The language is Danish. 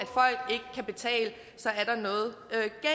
at kan betale så er der noget